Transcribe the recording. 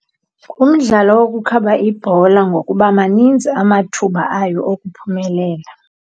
Ngumdlalo wokukhaba ibhola ngokuba maninzi amathuba ayo okuphumelela.